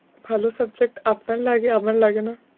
ভালো subject আপনার লাগে আমার লাগে না।